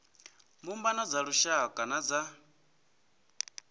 mbumbano dza lushaka na dza